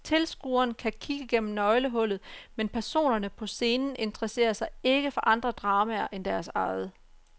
Tilskueren kan kigge gennem nøglehullet, men personerne på scenen interesserer sig ikke for andre dramaer end deres eget.